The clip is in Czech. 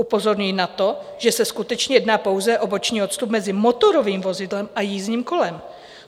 Upozorňuji na to, že se skutečně jedná pouze o boční odstup mezi motorovým vozidlem a jízdním kolem.